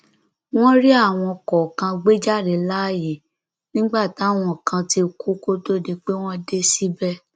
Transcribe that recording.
wọn rí àwọn kọọkan gbé jáde láàyè nígbà táwọn kan ti kú kó tóó di pé wọn dé síbẹ